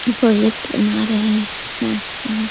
project बना रहे है ।--